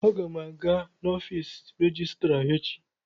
Aga m aga n'ọfiisi rejistra echi.